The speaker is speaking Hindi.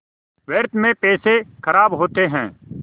व्यर्थ में पैसे ख़राब होते हैं